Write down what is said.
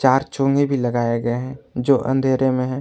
यहां चोंगे भी लगाया गया है जो अंधेरे में है।